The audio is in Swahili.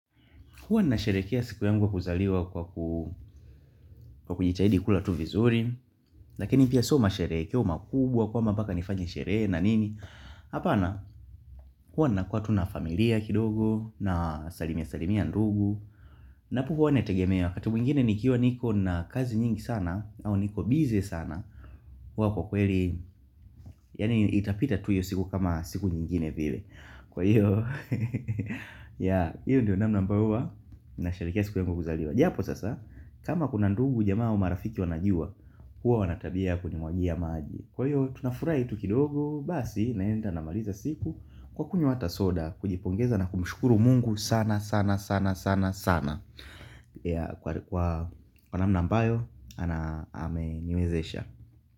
Huwa nina sherekea siku yangu kuzaliwa kwa kujitahidi kula tu vizuri. Lakini pia soo masherekeo makubwa kwamba mbaka nifanye sherehe na nini. Hapana huwa ninakuwa tu na familia kidogo na salimia salimia ndugu. Napo huwa nategemea wakati mwingine nikiwa niko na kazi nyingi sana au niko busy sana huwa kwa kweli, yani itapita tu hiyo siku kama siku nyingine vile. Kwa hiyo, ya, hiyo ndio namna ambayo huwa nina sherekea siku yangu kuzaliwa. Japo sasa, kama kuna ndugu jamaa au marafiki wanajuwa, huwa wanatabia kuni mwagia maji. Kwa hiyo, tunafurahi tu kidogo, basi, naenda na maliza siku, kwa kunywa hata soda, kujipongeza na kumshukuru mungu sana, sana, sana, sana, sana. Kwa namna ambayo, ana ame nimezesha.